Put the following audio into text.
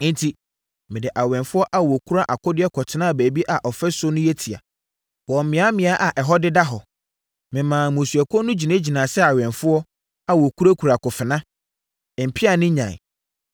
Enti, mede awɛmfoɔ a wɔkura akodeɛ kɔtenaa baabi a ɔfasuo no yɛ tia, wɔ mmeammea a ɛhɔ deda hɔ. Memaa mmusuakuo no gyinagyinaa sɛ awɛmfoɔ a wɔkurakura akofena, mpea ne nnyan.